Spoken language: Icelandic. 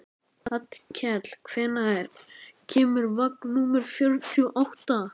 Hallkell, hvenær kemur vagn númer fjörutíu og átta?